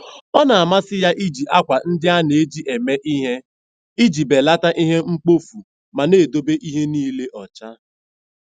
Ọ na-amasị ya iji akwa ndị a na-eji eme ihe iji belata ihe mkpofu ma na-edobe ihe niile ọcha.